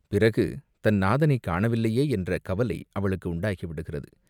பிறகு தன் நாதனைக் காணவில்லையே என்ற கவலை அவளுக்கு உண்டாகிவிடுகிறது.